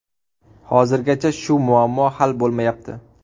Hozirgacha shu muammo hal bo‘lmayapti.